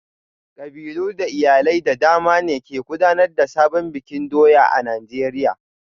Kabilu da iyalai da dama ne ke gudanar da sabon bikin doya a Najeriya